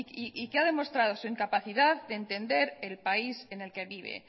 y que ha demostrado su incapacidad de entender en país en el que vive